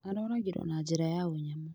Aroragirwo na njĩra ya ũnyamũ